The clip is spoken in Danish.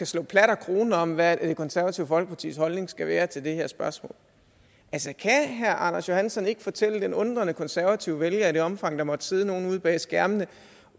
slå plat og krone om hvad det konservative folkepartis holdning skal være til det her spørgsmål altså kan herre anders johansson ikke fortælle den undrende konservative vælger i det omfang der måtte sidde nogen ude bag skærmene